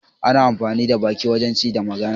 Ana amfani da baki wajen ci da magana.